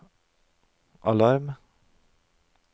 alarm